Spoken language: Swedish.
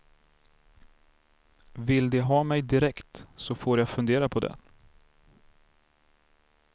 Vill de ha mig direkt så får jag fundera på det.